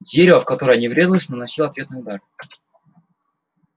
дерево в которое они врезались наносило ответные удары